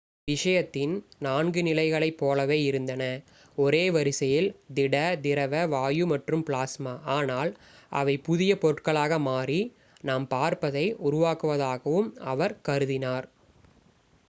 இது விஷயத்தின் நான்கு நிலைகளைப் போலவே இருந்தன ஒரே வரிசையில்: திட திரவ வாயு மற்றும் பிளாஸ்மா ஆனால் அவை புதிய பொருட்களாக மாறி நாம் பார்ப்பதை உருவாக்குவதாகவும் அவர் கருதினார்